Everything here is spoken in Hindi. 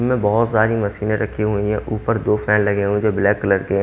में बहुत सारी मशीनें रखी हुई है ऊपर दो फैन लगे हुए हैं जो ब्लैक कलर के है।